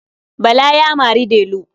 Bala ya mari Delu.